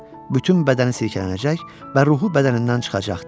Bütün bədəni sirkələnəcək və ruhu bədənindən çıxacaqdı.